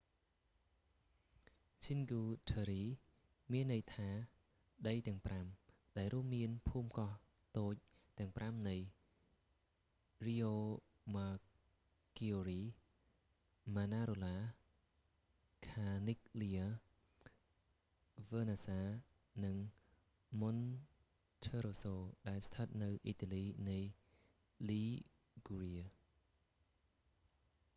cinque terre មានន័យថាដីទាំងប្រាំ ដែលរួមមានភូមិកោះតូចទាំងប្រាំនៃ riomaggiore manarola corniglia vernazza និង monterosso ដែលស្ថិតនៅអ៊ីតាលីនៃ liguria